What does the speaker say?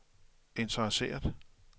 interesseret